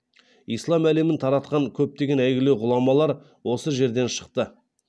ислам әлемін таратқан көптеген әйгілі ғұламалар осы жерден шықты